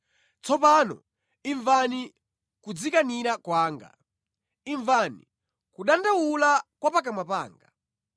Tsopano imvani kudzikanira kwanga; imvani kudandaula kwa pakamwa panga.